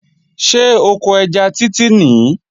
Ṣé oko ẹja Títí nìí?